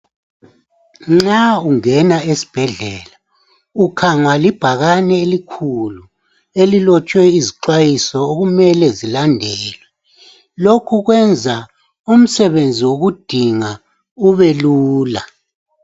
Nxa ungena esibhedlela ukhangwa libhakane elikhulu elilotshwe izixhwayiso okumele zilandelwe . Lokhu kwenza umsebenzi wokudinga ubelula.